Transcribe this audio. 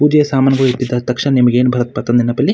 ಪೂಜೆ ಸಾಮಗ್ರಿ ನಿಮಗೆ ಏನ್ ಭರತ್ ಪ ನೆನಪಲ್ಲಿ--